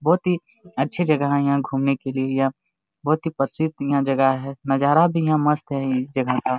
बहुत ही अच्छे जगह है यहाँ घूमने के लिए या बहुत ही प्रसिद यहाँ जगह है नजारा भी यहां मस्त है इस जगह का--